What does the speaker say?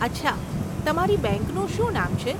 અચ્છા, તમારી બેંકનું શું નામ છે?